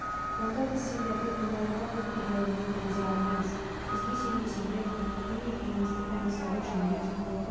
онда біз сендерді торғайға бұл түрлеріңмен кіргізе алмаймыз бізге сенбесеңдер міне кеңестің комиссары жангелдин қол қойған